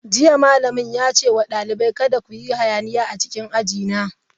Jiya malamin ya ce wa dalibai, kada ku yi hayaniya a cikin aji na!